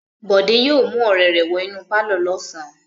Bọ̀dé yóò mú ọ̀rẹ́ rẹ̀ wọ inú pálọ̀ lọ́sàn-án.